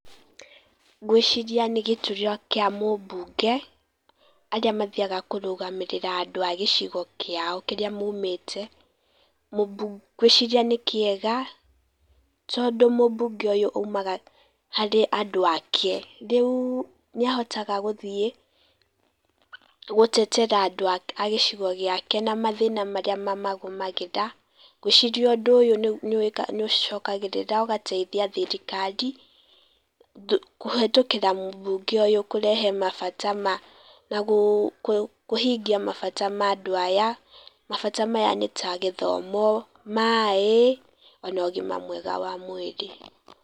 Ngũĩciria nĩ gĩturwa kĩa mũmbunge arĩa mathiaga kũrũgamĩrĩra andũ a gĩcigo kĩao kĩrĩa maumĩte. Ngũĩciria nĩ kĩega, tondũ mũmbunge ũyũ aumaga harĩ andũ ake. Rĩu nĩ ahotaga guthiĩ gũtetera andu a gĩcigo gĩake na mathĩna maria mamagumagira. Ngũĩciria undũ ũyũ nĩ ũcokagĩrĩra ũgateithia thirikari, kũhĩtũkĩra mũmbunge ũyu kũrehe mabata na kũhingia mabata ma andũ aya. Mabata maya nĩ ta gĩthomo, maĩ ona ũgima mwega wa mwĩri.